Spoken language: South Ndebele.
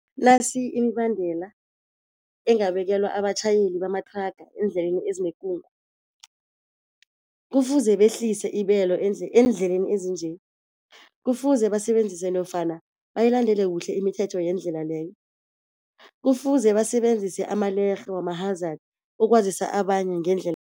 Nasi imibandela engabekelwa abatjhayeli bamathraga eendleleni ezinekungu. Kufuze behlise ibelo eendleleni ezinje. Kufuze basebenzise nofana bayilandele kuhle imithetho yendlela leyo. Kufuze basebenzise amalerhe wama-hazard ukwazisa abanye